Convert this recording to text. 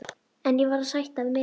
En ég varð að sætta mig við að